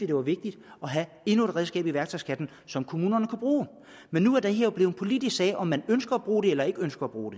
det var vigtigt at have endnu et redskab i værktøjskassen som kommunerne kan bruge men nu er det jo blevet en politisk sag om man ønsker at bruge det eller ikke ønsker at bruge